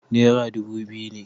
Nera dubu biyu ne